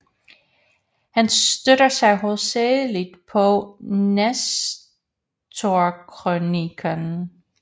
Han støtter sig hovedsagelig på Nestorkrøniken